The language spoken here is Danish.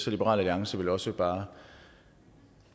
liberal alliance vil også bare